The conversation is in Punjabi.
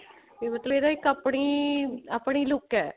ਵੀ ਇਹਦਾ ਮਤਲਬ ਆਪਣੀ ਆਪਣੀ look ਹੈ